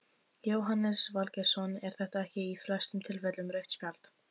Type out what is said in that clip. Jóhannes Valgeirsson er þetta ekki í flestum tilfellum rautt spjald?